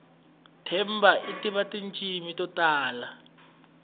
themba itiva tintshimi totala